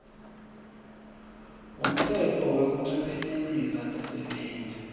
ngumtsetfo wekuncephetelisa tisebenti